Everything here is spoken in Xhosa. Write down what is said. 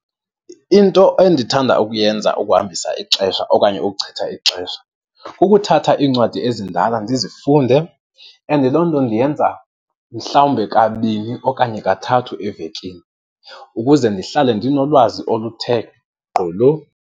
Into endithanda ukuyenza ukuhambisa ixesha okanye ukuchitha ixesha kukuthatha iincwadi ezindala ndizifunde and loo nto ndiyenza mhlawumbe kabini okanye kathathu evekini ukuze ndihlale ndinolwazi oluthe gqolo.